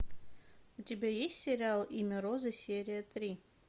у тебя есть сериал имя розы серия три